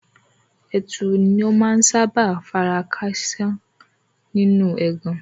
Ẹtù ni ó máa ń sábà fara ká àsà nínú ẹgàn